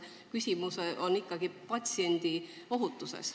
Küsimus on ikkagi patsientide ohutuses.